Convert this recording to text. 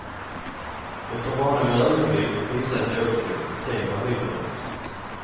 Efter bara några ögonblick visade sig också det vara hyperintressant.